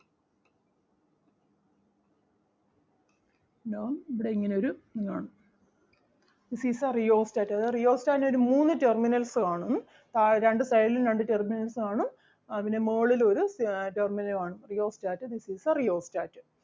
എന്താവും ഇവിടെ ഇങ്ങനെ ഒരു ഇത് കാണും this is the rheostat. അതായത് rheostat നു ഒരു മൂന്നു terminals കാണും ഉം ആഹ് രണ്ടു side ലും രണ്ടു terminals കാണും ആഹ് പിന്നെ മോളിലും ഒരു ആഹ് terminal കാണും rheostat this is the rheostat